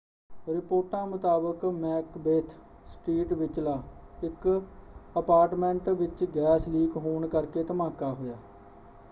ਰਿਪੋਰਟਾਂ ਮੁਤਾਬਕ Macbeth street ਵਿਚਲਾ ਇੱਕ ਅਪਾਰਟਮੈਂਟ ਵਿੱਚ ਗੈਸ ਲੀਕ ਹੋਣ ਕਰਕੇ ਧਮਾਕਾ ਹੋਇਆ।